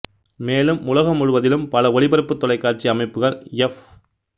மேலும் உலகம் முழுவதிலும் பல ஒளிபரப்புத் தொலைக்காட்சி அமைப்புகள் எஃப்